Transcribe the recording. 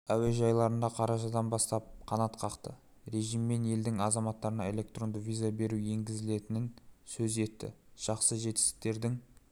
әуежайларында қарашадан бастап қанат қақты режиммен елдің азаматтарына электронды виза беру енгізілетінін сөз етті жақсы жетістіктердің